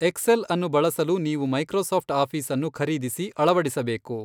ಎಕ್ಸೆಲ್ಅನ್ನು ಬಳಸಲು ನೀವು ಮೈಕ್ರೋಸಾಫ್ಟ್ ಆಫೀಸ್ಅನ್ನು ಖರೀದಿಸಿ, ಅಳವಡಿಸಬೇಕು.